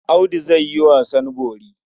Audu zai yi wasan bori.